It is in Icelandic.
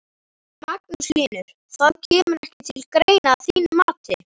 Magnús Hlynur: Það kemur ekki til greina að þínu mati?